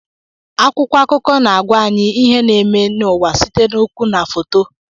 Akwụkwọ akụkọ na-agwa anyị ihe na-eme n'ụwa site n'okwu na foto.